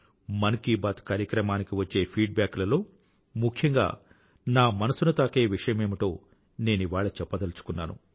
మన్ కీ బాత్ కార్యక్రమానికి వచ్చే feedback లలో ముఖ్యంగా నా మనసుని తాకే విషయమేమిటో నేనివాళ చెప్పదలుచుకున్నాను